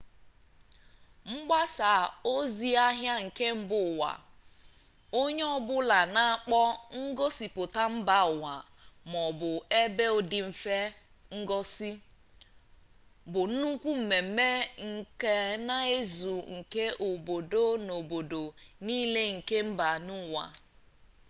mgbasa ozi-ahia nke mba uwa onye-obula na akpo ngosiputa mba uwa maobu ebe odimfe ngosi bu nnukwu mmemme nka na uzu nke obodo na obodo nile nke mba uwa